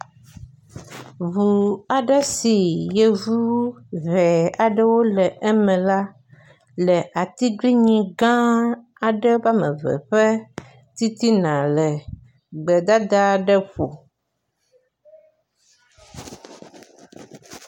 Ŋu aɖe si yevu he aɖewo le eme la le atiglinyi gã aɖe woame eve ƒe titina le gbedada aɖe ƒo.